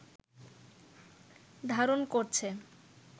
ধারণ করছে